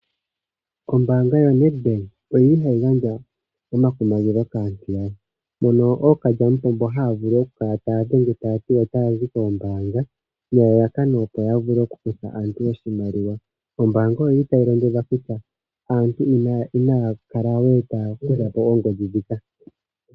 Ombaanga yoNedBank oyili tayi gandja omakumagidho kaantu, mono ookalyamupombo haya vulu oku kala taya dhenge taya ti otaya zi koombaanga nelalakano opo ya vulu oku kutha aantu iimaliwa. Ombaanga oyili tayi londo dha kutya aantu inaya kala we taya kutha po oongodhi dhika.